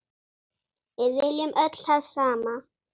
Við viljum öll það sama.